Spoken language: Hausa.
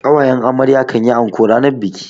ƙawayen amarya kan yi anko ranar biki.